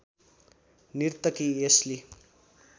नर्तकी एस्ली